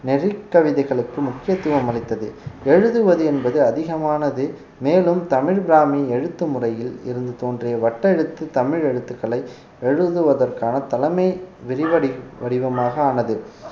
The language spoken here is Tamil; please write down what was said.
நெறிக்கவிதைகளுக்கு முக்கியத்துவம் அளித்தது எழுதுவது என்பது அதிகமானது மேலும் தமிழ் பிராமி எழுத்து முறையில் இருந்து தோன்றிய வட்டெழுத்து தமிழ் எழுத்துக்களை எழுதுவதற்கான தலைமை விரிவடை வடிவமாக ஆனது